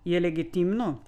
Je legitimno?